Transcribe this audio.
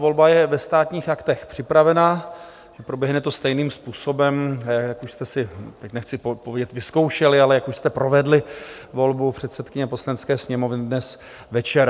Volba je ve Státních aktech připravena, proběhne to stejným způsobem, jak už jste si - teď nechci povědět vyzkoušeli, ale jak už jste provedli volbu předsedkyně Poslanecké sněmovny dnes večer.